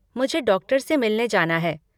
मुझे डॉक्टर से मिलने जाना है।